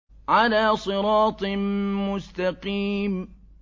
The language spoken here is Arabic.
عَلَىٰ صِرَاطٍ مُّسْتَقِيمٍ